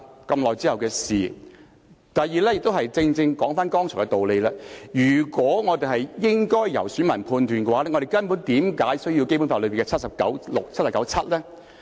第二點是——這正正說回剛才的道理——如果我們應該留待選民判斷，那我們為何需要《基本法》第七十九條第六項及第七項呢？